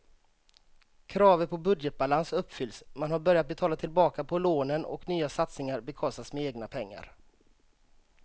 Kraven på budgetbalans uppfylls, man har börjat betala tillbaka på lånen och nya satsningar bekostas med egna pengar.